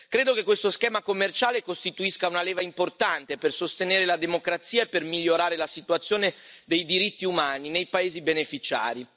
Credo che questo schema commerciale costituisca una leva importante per sostenere la democrazia e per migliorare la situazione dei diritti umani nei paesi beneficiari.